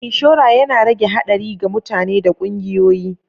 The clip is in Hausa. Inshora yana rage haɗari ga mutane da ƙungiyoyi.